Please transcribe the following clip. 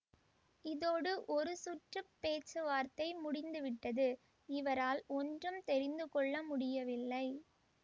இதோடு ஒரு சுற்று பேச்சுவார்த்தை முடிந்து விட்டது இவரால் ஒன்றும் தெரிந்து கொள்ள முடியவில்லை